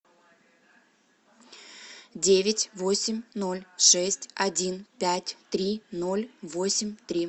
девять восемь ноль шесть один пять три ноль восемь три